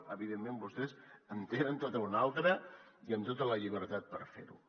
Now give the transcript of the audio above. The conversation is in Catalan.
evidentment vostès en tenen tota una altra i amb tota la llibertat per fer ho